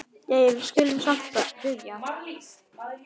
Jæja, við skulum samt byrja.